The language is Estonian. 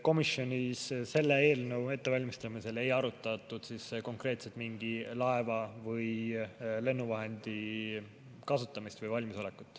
Komisjonis selle eelnõu ettevalmistamisel ei arutatud konkreetselt mingi laeva või lennuvahendi kasutamist või valmisolekut.